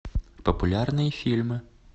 популярные фильмы